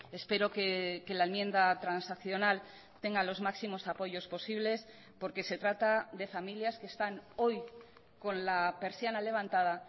espero que la enmienda transaccional tenga los máximos apoyos posibles porque se trata de familias que están hoy con la persiana levantada